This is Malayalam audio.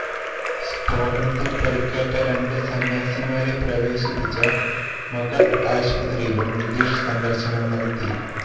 സ്ഫോടനത്തില് പരുക്കേറ്റ രണ്ട് സന്യാസിമാരെ പ്രവേശിപ്പിച്ച മഗധ് ആശുപത്രിയിലും നിതീഷ് സന്ദര്ശനം നടത്തി